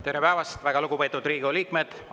Tere päevast, väga lugupeetud Riigikogu liikmed!